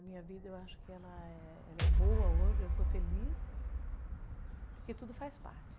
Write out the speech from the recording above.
A minha vida, eu acho que ela é boa hoje, eu sou feliz, porque tudo faz parte.